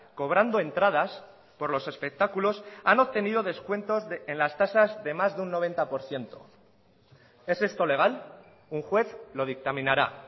cobrando entradas por los espectáculos han obtenido descuentos en las tasas de más de un noventa por ciento es esto legal un juez lo dictaminará